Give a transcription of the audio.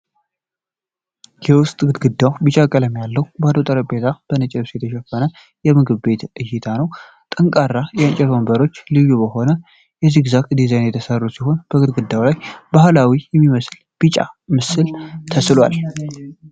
የውስጥ ግድግዳው ቢጫ ቀለም ያለው፣ ባዶ ጠረጴዛዎች በነጭ ልብስ የተሸፈኑበት የምግብ ቤት እይታ ነው። ጠንካራ የእንጨት ወንበሮች ልዩ በሆነ የዚግዛግ ዲዛይን የተሰሩ ሲሆን፣ በግድግዳው ላይ ባህላዊ የሚመስል ቢጫ ምስል ተስሏል።